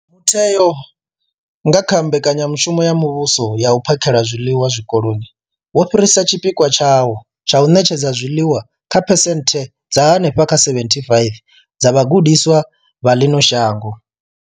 Mutheo, nga kha mbekanyamushumo ya muvhuso ya u phakhela zwiḽiwa Zwikoloni, wo fhirisa tshipikwa tshawo tsha u ṋetshedza zwiḽiwa kha phesenthe dza henefha kha 75 dza vhagudiswa vha ḽino shango.